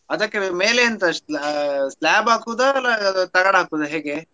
ಅದ್ದಕೆ ಮೇಲೆ ಎಂತ sl~ slab ಹಾಕೋದ ತಗಡ್ ಹಾಕೋದ.